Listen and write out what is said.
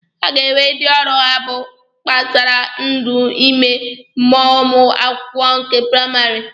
A ga-enwe ndị ọrụ ha bụ kpasara ndụ ime mmụọ ụmụ akwụkwọ nke praịmarị.